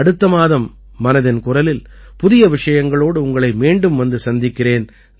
அடுத்த மாதம் மனதின் குரலில் புதிய விஷயங்களோடு உங்களை மீண்டும் வந்து சந்திக்கிறேன்